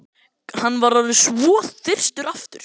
Hann var orðinn svo þyrstur aftur.